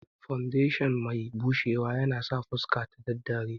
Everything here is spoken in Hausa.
Fawundeshin mai bushewa yanasa fuska ta daddare